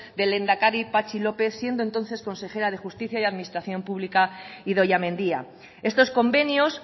del lehendakari patxi lópez siendo entonces consejera de justicia y administración pública idoia mendia estos convenios